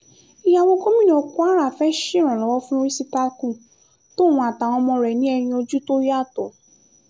ìyàwó gómìnà kwara fẹ́ẹ́ ṣèrànlọ́wọ́ fún rìsítákù tòun àtàwọn ọmọ rẹ̀ ní ẹ̀yìn ojú tó yàtọ̀